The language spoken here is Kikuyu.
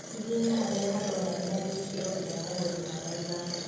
Hihinya harĩa haronania gĩkĩro kĩa mũgũri namba ithano